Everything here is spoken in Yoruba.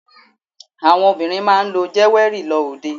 Àwọn obìnrin máa ń lo jéwẹ́rì lọ òde.